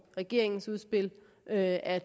regeringens udspil at at